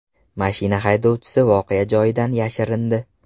Mashina haydovchisi voqea joyidan yashirindi.